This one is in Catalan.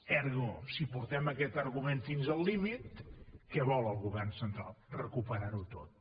ergo si portem aquest argument fins al límit què vol el govern central recuperar ho tot